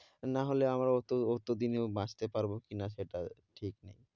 নাহলে আমরা অত অত দিনেও বাঁচতে পারব কি না সেটা ঠিক নেই।